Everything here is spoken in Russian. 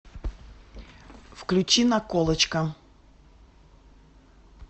включи наколочка